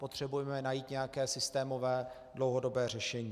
Potřebujeme najít nějaké systémové dlouhodobé řešení.